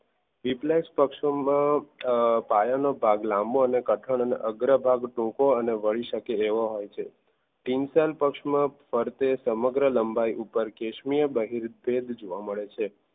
Reflux પક્ષોમાં પાયાનો ભાગ લાંબો અને કઠણ અને અગ્ર ભાગ ટૂંકો અને હોય છે teacher પક્ષમાં સમગ્ર લંબાઈ ઉપર કેસરી બહીરીયા ભેદ જોવા મળે છે.